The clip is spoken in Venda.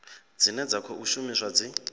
dzine dza khou shumiswa dzi